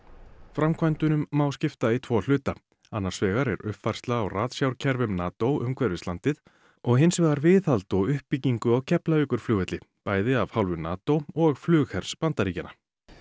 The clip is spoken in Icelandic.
framkvæmdunum má skipta í tvo hluta annars vegar er uppfærsla á ratsjárkerfum NATO umhverfis landið og hins vegar viðhald og uppbyggingu á Keflavíkurflugvelli bæði af hálfu NATO og flughers Bandaríkjanna